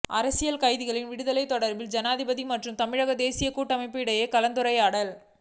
அரசியல் கைதிகளின் விடுதலை தொடர்பில் ஜனாதிபதி மற்றும் தமிழ் தேசியக் கூட்டமைப்பு இடையில் கலந்துரையாடல்